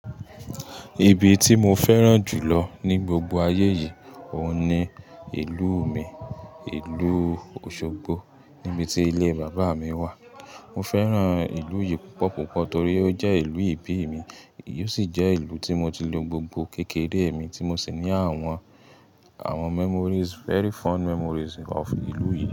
Ibi ti mo fẹ́ràn jùlọ ni gbogbo ayé yìí, òun ni ìlú mi, ìlú Osogbo níbi tí ilé bàbá mi wà. Mo fẹ́ràn ìlú yìí púpọ̀ púpọ̀ torí ó jẹ́ ìlú ìbí mi, ó sì jẹ́ ìlú tí mo ti lo gbogbo kékeré mi tí mo sì ní àwọn, àwọn memories, very fun memories of ìlú yìí.